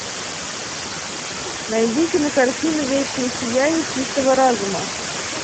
найди кинокартину вечное сияние чистого разума